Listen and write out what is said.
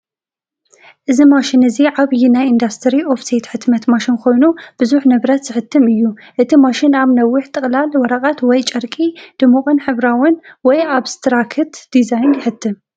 እዚ ማሽን እዚ ዓቢይ ናይ ኢንዱስትሪ ኦፍሴት ሕትመት ማሽን ኮይኑ ብዙሕ ንብረት ዝሕትም እዩ። እቲ ማሽን ኣብ ነዊሕ ጥቕላል ወረቐት ወይ ጨርቂ ድሙቕን ሕብራዊን (ኣብስትራክት) ዲዛይን ይሕትም።